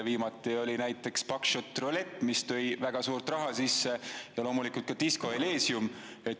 Viimati oli näiteks Buckshot Roulette, mis tõi väga suure raha sisse, ja loomulikult on ka Disco Elysium.